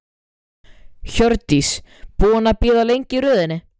Magnús Hlynur Hreiðarsson: Ólafur verður hestasveinn Dorritar?